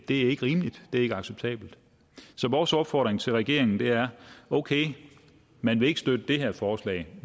er ikke rimeligt det er ikke acceptabelt så vores opfordring til regeringen er okay man vil ikke støtte det her forslag